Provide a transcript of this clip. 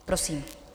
Prosím.